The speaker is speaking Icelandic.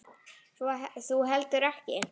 Svo þú heldur ekki?